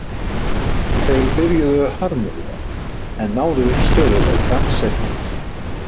Þeir byrjuðu hörmulega en náðu stöðugleika seinna meir.